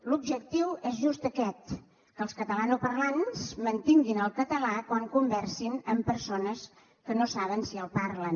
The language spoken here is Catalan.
l’objectiu és just aquest que els catalanoparlants mantinguin el català quan conversin amb persones que no saben si el parlen